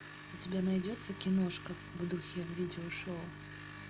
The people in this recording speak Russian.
у тебя найдется киношка в духе видео шоу